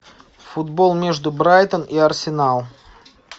футбол между брайтон и арсенал